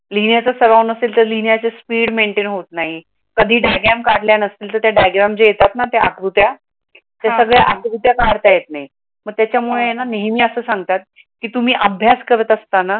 लिहिण्याचा सराव नसेल तर लिहिण्याच स्पीड maintain होत नाही. कधी diagram काढल्यानंतर त्या आकृत्या काढता येत नाही व त्यामुळे नेहमी असं सांगतात की तुम्ही अभ्यास करत असत